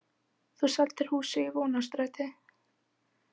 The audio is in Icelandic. Þú seldir húsið í Vonarstræti.